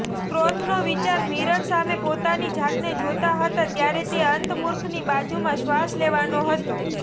સ્ક્ર્રોથનો વિચાર મિરર સામે પોતાની જાતને જોતા હતા ત્યારે તે અંતર્મુખની બાજુમાં શ્વાસ લેવાનો હતો